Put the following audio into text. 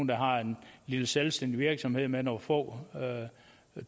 der har en lille selvstændig virksomhed med nogle få